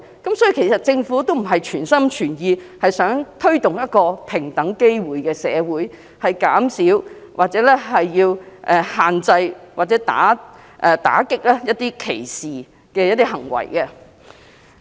因此，政府不是全心全意在社會推動平等機會，以減少、限制或打擊一些歧視行為。